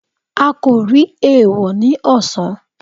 a ko ri eewọ ni ọsan.